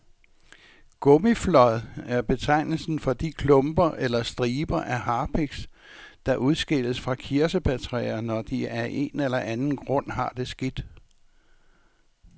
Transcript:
Gummiflåd er betegnelsen for de klumper eller striber af harpiks, der udskilles fra kirsebærtræer, når de af en eller anden grund har det skidt.